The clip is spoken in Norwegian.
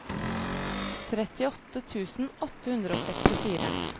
trettiåtte tusen åtte hundre og sekstifire